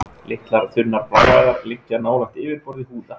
Litlar, þunnar bláæðar liggja nálægt yfirborði húðar.